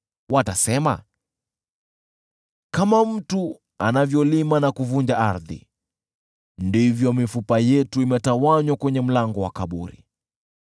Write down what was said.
Watasema, “Kama mtu anavyolima na kuvunja ardhi, ndivyo mifupa yetu imetawanywa kwenye mlango wa kaburi.”